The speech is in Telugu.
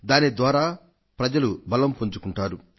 దాని ద్వారా ప్రజలు బలం పుంజుకొంటారు